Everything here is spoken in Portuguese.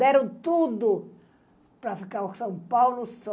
Deram tudo para ficar o São Paulo só.